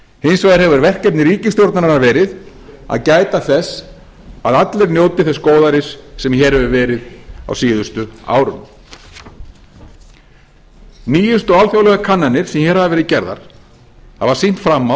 hins vegar hefur verkefni ríkisstjórnarinnar verið að gæta þess að allir njóti þess góðæris sem hér hefur verið á síðustu árum nýjustu alþjóðlegar kannanir sem hér hafa verið gerðar hafa sýnst fram